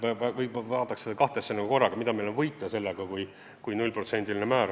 Vaataks neid kahte asja korraga – mida meil on võita, kui kehtib 0%-line määr.